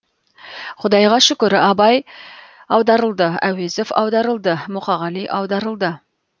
құдайға шүкір абай аударылды әуезов аударылды мұқағали аударылды